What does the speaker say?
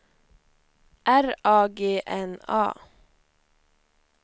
R A G N A